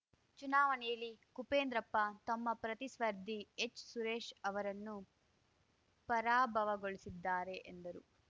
ಚುನಾವಣೆಯಲ್ಲಿ ಕುಪೇಂದ್ರಪ್ಪ ತಮ್ಮ ಪ್ರತಿಸ್ಪರ್ಧಿ ಎಚ್‌ಸುರೇಶ್‌ ಅವರನ್ನು ಪರಾಭವಗೊಳಿಸಿದ್ದಾರೆ ಎಂದರು